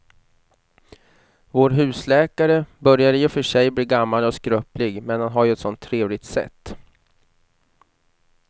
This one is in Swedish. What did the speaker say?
Vår husläkare börjar i och för sig bli gammal och skröplig, men han har ju ett sådant trevligt sätt!